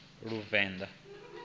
luvenḓa